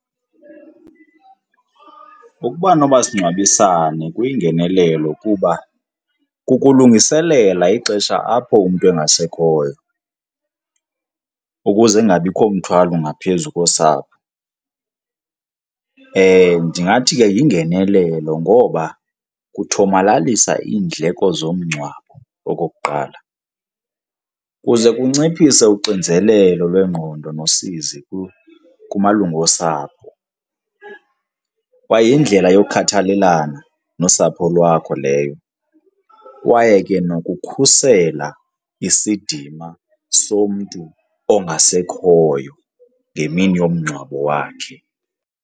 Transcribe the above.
Ukuba nomasingcwabisane kuyingenelelo kuba kukulungiselela ixesha apho umntu engasekhoyo ukuze kungabikho mthwalo ngaphezu kosapho. Ndingathi ke yingenelelo ngoba kuthomalalisa iindleko zomngcwabo, okokuqala. Kuze kunciphise uxinzelelo lwengqondo nosizi kumalungu osapho kwaye yindlela yokhathalelana nosapho lwakho leyo, kwaye ke nokukhusela isidima somntu ongasekhoyo ngemini yomngcwabo wakhe.